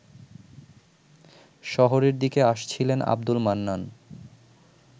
শহরের দিকে আসছিলেন আবদুল মান্নান